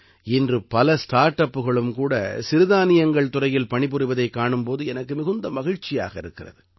இன்று பல ஸ்டார்ட் அப்புகளும் கூட சிறுதானியங்கள் துறையில் பணி புரிவதைக் காணும் போது எனக்கு மிகுந்த மகிழ்ச்சியாக இருக்கிறது